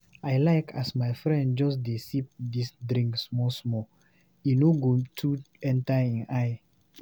I like as my friend just dey sip dis drink small small, e no go too enta ein eye.